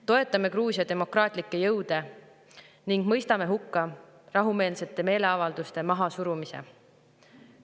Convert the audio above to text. Toetame Gruusia demokraatlikke jõude ning mõistame hukka rahumeelsete meeleavalduste mahasurumise.